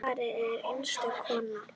Svava er einstök kona.